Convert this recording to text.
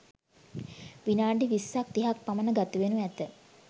විනාඩි විස්සක් තිහක් පමණ ගත වෙනු ඇත